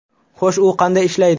Xo‘sh, u qanday ishlaydi.